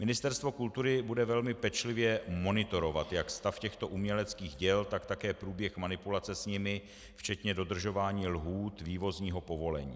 Ministerstvo kultury bude velmi pečlivě monitorovat jak stav těchto uměleckých děl, tak také průběh manipulace s nimi včetně dodržování lhůt vývozního povolení.